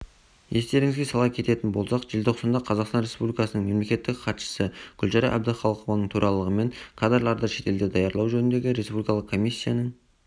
естеріңізге сала кететін болсақ желтоқсанда қазақстан республикасының мемлекеттік хатшысы гүлшара әбдіқалықованың төрағалығымен кадрларды шетелде даярлау жөніндегі республикалық комиссияның